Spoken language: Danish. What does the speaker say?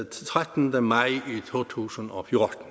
trettende maj to tusind og fjorten